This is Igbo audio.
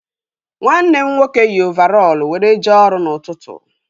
Nwanne m nwoke yi ovarọl were jee ọrụ n'ụtụtụ